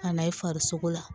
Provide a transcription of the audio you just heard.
Ka na i farisogo la